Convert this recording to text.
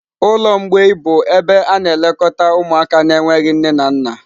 ụlọ mgbei bụ ebe a na-elekọta ụmụaka na-enweghị nne na nna.